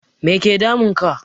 Make damun ka?